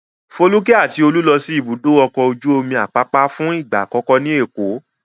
Folúkẹ́ àti Olú lọ sí Ibùdó-ọkọ̀ ojú-omi Àpápá fún ìgbà àkọ́kọ́ ní Èkó.